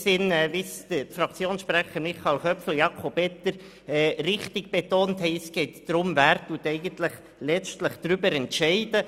Wie die Grossräte Köpfli und Etter richtig betont haben, geht es in diesem Sinne darum, wer letztlich darüber entscheidet.